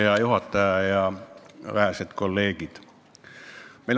Hea juhataja ja vähesed kolleegid!